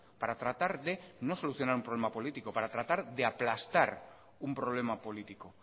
para tratar de no solucionar un problema político para tratar de aplastar un problema político